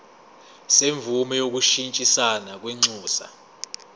semvume yokushintshisana kwinxusa